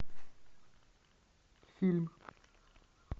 фильм